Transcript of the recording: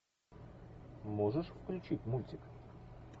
можешь включить мультик